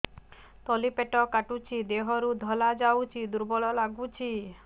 ତଳି ପେଟ କାଟୁଚି ଦେହରୁ ଧଳା ଯାଉଛି ଦୁର୍ବଳ ଲାଗୁଛି